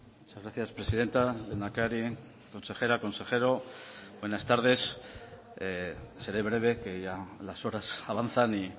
muchas gracias presidenta lehendakari consejera consejero buenas tardes seré breve que ya las horas avanzan y